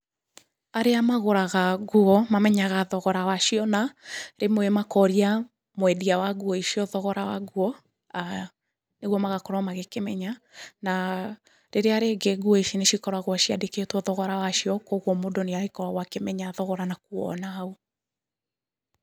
Arĩa magũraga nguo, mamenyaga thogora wacio na, rĩmwe makoria mwendia wa nguo icio thogora wa nguo, nĩ guo magakorwo magĩkĩmenya, na rĩrĩa rĩngĩ nguo ici nĩ cikoragwo ciandĩkĩtwo thogora wacio kũguo mũndũ nĩ agĩkoragwo akĩmenya thogora na kuona.